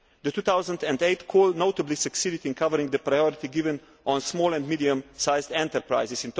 The 2008 call notably succeeded in covering the priority given to small and medium sized enterprises.